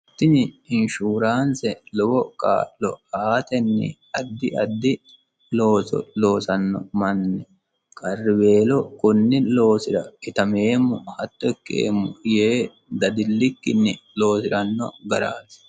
Tini inshuraanise lowo kaa'lo aatenni addi addi looso loosanno manni qari weelo konni loosira itameemo hatto ikeemo yee dadillikkini loosiranno garaati